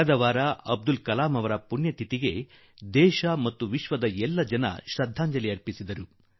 ಕಳೆದವಾರ ಅಬ್ದುಲ್ ಕಲಾಂ ಜೀ ಅವರ ಪುಣ್ಯ ತಿಥಿಯನ್ನ ಸಂದರ್ಭದಲ್ಲಿ ದೇಶ ಹಾಗೂ ವಿಶ್ವ ಶ್ರದ್ಧಾಂಜಲಿ ಸಲ್ಲಿಸಿತು